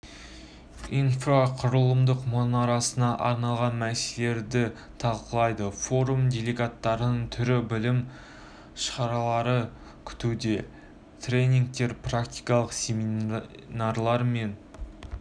инфрақұрылымдық мұрасына арналған мәселелерді талқылайды форум делегаттарын түрлі білім шаралары күтуде тренингтер практикалық семинарлар мен